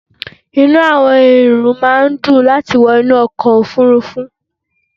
Inú àwọn èrò máà ń dùn láti wọ inú ọkọ̀ òfurufú